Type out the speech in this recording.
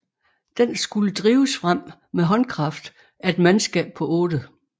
Den skulle drives frem med håndkraft af et mandskab på 8